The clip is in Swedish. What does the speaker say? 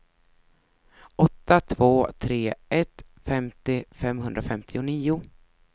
åtta två tre ett femtio femhundrafemtionio